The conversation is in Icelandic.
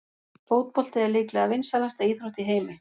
Fótbolti er líklega vinsælasta íþrótt í heimi.